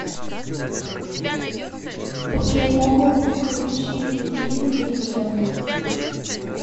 окей гугл включи мне фильм легенда